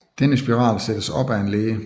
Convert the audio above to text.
Denne spiral sættes op af en læge